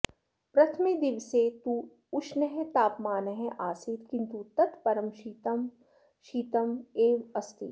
प्रथमे दिवसे तु ऊष्णः तापमानः आसीत् किन्तु तत् परं शीतः शीतः एव अस्ति